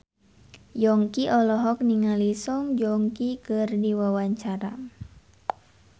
Yongki olohok ningali Song Joong Ki keur diwawancara